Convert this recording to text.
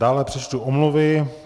Dále přečtu omluvy.